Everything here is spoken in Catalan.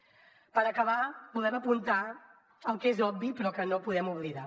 per acabar volem apuntar el que és obvi però que no podem oblidar